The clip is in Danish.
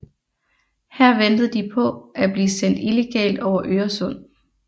Her ventede de på at blive sendt illegalt over Øresund